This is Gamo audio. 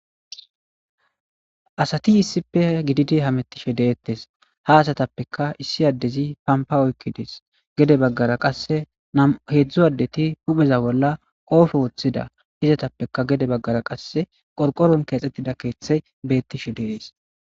Asati issippe gididi hamettishe deettes. Ha asatappeka issi addezi pampa oykki des. Gede baggara qasse nam'u heezzu addeti hupheza bolla qoobe woththida izatappeka gede baggara qasse qorqoron keexxettida keeththe beettishe dees.